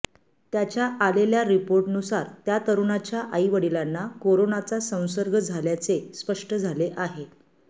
त्याच्या आलेल्या रिपोर्टनुसार त्या तरुणाच्या आईवडिलांना कोरोनाचा संसर्ग झाल्याचे स्पष्ट झाले आहे